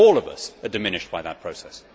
All of us are diminished by that process.